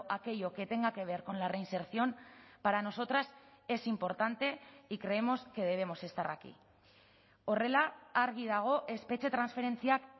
aquello que tenga que ver con la reinserción para nosotras es importante y creemos que debemos estar aquí horrela argi dago espetxe transferentziak